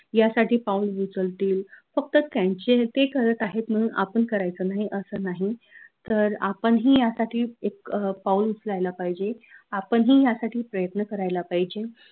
यासाठी पाऊल उचलतील फक्त त्यांचे ते करत आहेत म्हनून आपन करायचं नाही असं नाही तर आपन ही यासाठी एक पाउल उचलायला पाहिजे आपन ही यासाठी प्रयत्न करायला पाहिजे